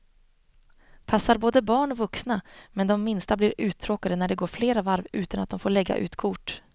Passar både barn och vuxna, men de minsta blir uttråkade när det går flera varv utan att de får lägga ut kort.